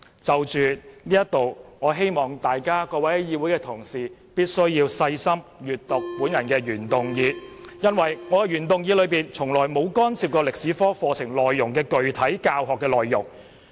就此，我希望各位議會同事細心閱讀我的原議案，我的原議案從來沒有干涉中史科課程的具體教學內容。